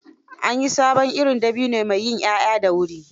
An yi sabon irin dabino mai yin 'ya'ya da wuri.